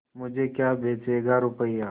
मुझे क्या बेचेगा रुपय्या